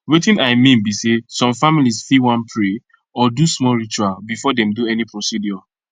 wetin i mean be say some families fit wan pray or do small ritual before dem do any procedure